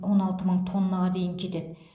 он алты мың тоннаға дейін кетеді